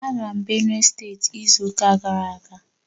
Agara m Benue steeti izu ụka gara aga